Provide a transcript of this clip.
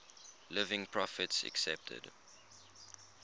living prophets accepted